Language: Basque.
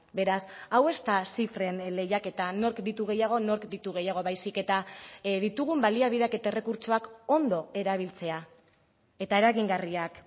beraz hau ez da zifren lehiaketa nork ditu gehiago nork ditu gehiago baizik eta ditugun baliabideak eta errekurtsoak ondo erabiltzea eta eragingarriak